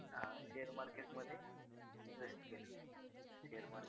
अं share market मध्ये invest केलं. Share market